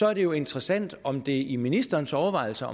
er det jo interessant om det indgår i ministerens overvejelser